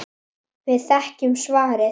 Við þekkjum svarið.